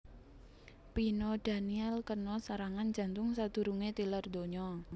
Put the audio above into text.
Pino Daniele kena serangan jantung sadurungé tilar donya